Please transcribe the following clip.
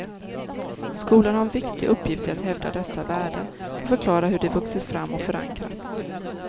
Skolan har en viktig uppgift i att hävda dessa värden och förklara hur de vuxit fram och förankrats.